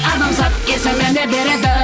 адамзат есіміне береді